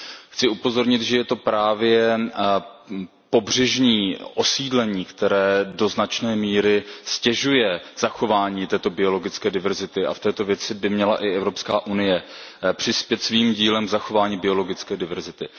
Chci upozornit, že je to právě pobřežní osídlení, které do značné míry ztěžuje zachování této biologické diverzity, a v této věci by měla i EU přispět svým dílem k zachování biologické diverzity.